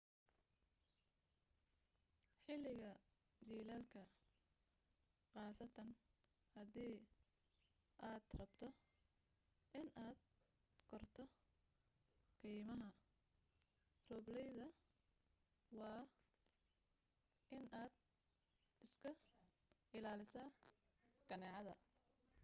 xiliga jilaalka qaastan hadii aar rabto inaad korto keymaha roobleyda waa in aad iska ilaalisa kaneecada